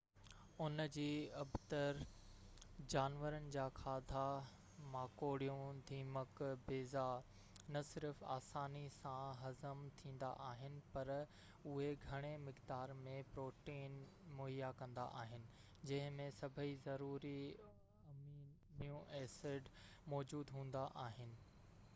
ان جي ابتڙ، جانورن جا کاڌا ماڪوڙيون، دیمڪ، بيضا نه صرف آساني سان هضم ٿيندا آهن، پر اهي گهڻي مقدار ۾ پروٽين مهيا ڪندا آهن، جن ۾ سڀئي ضروري امينو ايسڊ موجود هوندا آهن